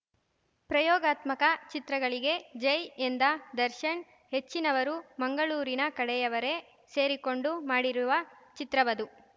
ಪ್ರಯೋಗಾತ್ಮಕ ಚಿತ್ರಗಳಿಗೆ ಜೈ ಎಂದ ದರ್ಶನ್‌ ಹೆಚ್ಚಿನವರು ಮಂಗಳೂರಿನ ಕಡೆಯವರೇ ಸೇರಿಕೊಂಡು ಮಾಡಿರುವ ಚಿತ್ರವದು